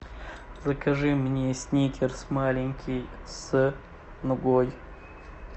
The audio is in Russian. закажи мне сникерс маленький с нугой